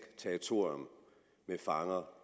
territorium med fanger